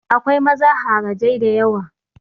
Akwai maza harajai da yawa.